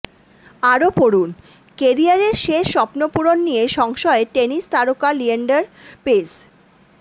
আরও পড়ুনঃকেরিয়ারের শেষ স্বপ্নপূরণ নিয়ে সংশয়ে টেনিস তারকা লিয়েন্ডার পেজ